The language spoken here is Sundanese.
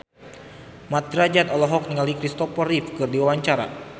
Mat Drajat olohok ningali Kristopher Reeve keur diwawancara